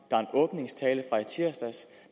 er en åbningstale fra i tirsdags